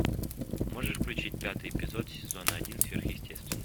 можешь включить пятый эпизод сезона один сверхъестественное